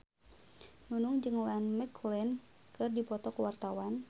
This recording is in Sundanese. Nunung jeung Ian McKellen keur dipoto ku wartawan